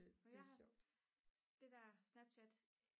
jeg har det der snapchat